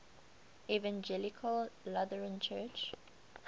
evangelical lutheran church